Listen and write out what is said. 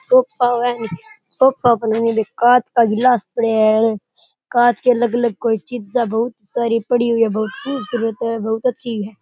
Sofa है sofa पर नीरा कांच का गिलास पडया है कांच के अलग अलग कोई चीजां बहुत सारी पड़ी हुई है बहुत खूबसूरत है बहुत अच्छी है।